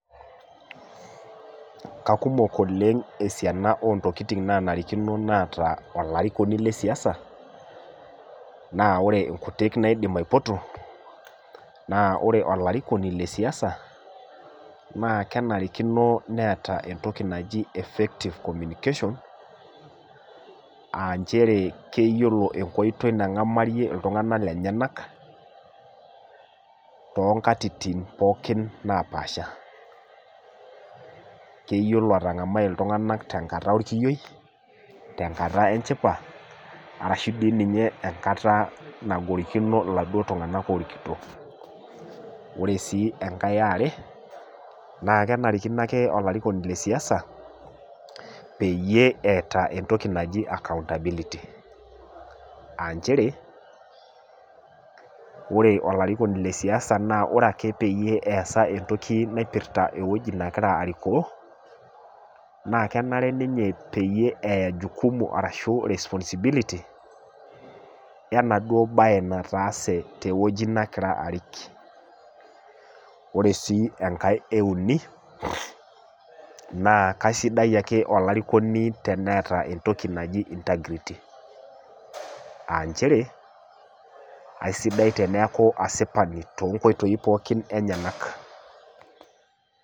Kakumok oleng' esiana ontokitin naanarikino neeta olarikoni lesiasa, naa wore inkutik naidim aipoto, naa wore olarikoni lesiasa, naa kenarikino neeta entoki naji effective communication, aa nchere keyiolo enkoitoi nangamarie iltunganak lenyanak, toonkatitin pookin naapaasha. Keyiolo atangamai iltunganak tenkata orkiyioi, tenkata enchipa, arashu dii ninye enkata nagorikino iladuo tunganak oorikito. Wore sii enkae eware, naa kenarikino ake olarikoni lesiasa, peyie eeta entoki naji accountability. Aa nchere, wore olarikoni lesiasa wore ake peyie easa entoki naipirta ewoji nakira arikoo, naa kenare ninye peyie eya jukumu arashu responsibility, enaduo bae nataase tewoji nakira arik. Wore sii enkae euni, naa kaisidai ake olarikoni teneeta entoki naji integrity, aa nchere, aisidai teneeku asipani toonkoitoi pookin enyanak.